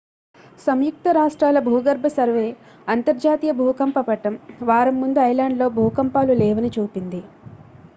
సంయుక్త రాష్ట్రాల భూగర్భ సర్వే అంతర్జాతీయ భూకంప పటం వారం ముందు ఐలాండ్లో భూకంపాలు లేవని చూపింది